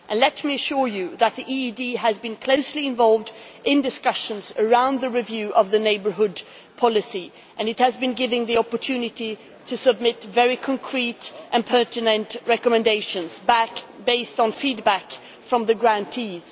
Let me assure you that the EED has been closely involved in discussions around the review of the neighbourhood policy and it has been given the opportunity to submit very concrete and pertinent recommendations based on feedback from the grantees.